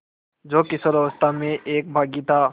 जो किशोरावस्था में एक बाग़ी था